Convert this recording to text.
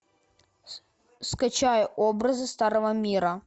скачай образы старого мира